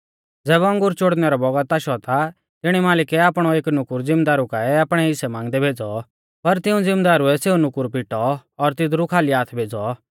ज़ैबै अंगूर चोड़नै रौ बौगत आशौ ता तिणी मालिकै आपणौ एक नुकुर ज़िमदारु काऐ आपणै हिस्सै मांगदै भेज़ौ पर तिऊं ज़िमदारुऐ सेऊ नुकुर पिटौ और तिदरु खाली हाथ भेज़ौ